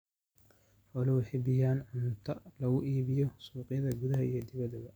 Xooluhu waxay bixiyaan cunto lagu iibiyo suuqyada gudaha iyo dibadda.